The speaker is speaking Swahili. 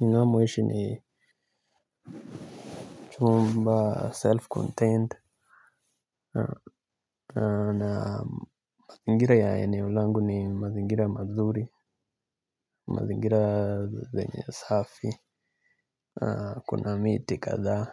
Namoishi ni chumba self contained. Na mazingira ya eneo langu ni mazingira mazuri. Mazingira zenye safi, kuna miti kadhaa.